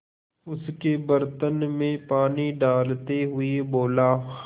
उसके बर्तन में पानी डालते हुए बोला